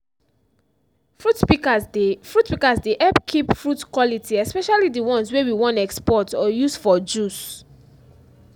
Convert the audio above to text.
fruit pikas dey fruit pikas dey hep kip fruit quality especially di ones wey we wan export or use for juice.